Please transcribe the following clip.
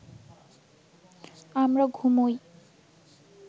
আমরা ঘুমোই